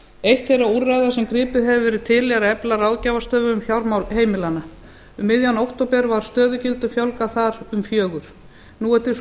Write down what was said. eitt þeirra úrræða sem gripið hefur verið til er að efla r ráðgjafarstofu um fjármál heimilanna um miðjan október á stöðugildum fjölgað þar um fjögur nú er